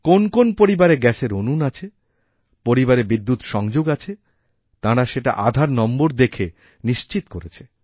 কোন্ কোন্ পরিবারে গ্যাসের উনুন আছেপরিবারে বিদ্যুৎ সংযোগ আছে তাঁরা সেটা আধার নম্বর দেখে নিশ্চিত করেছে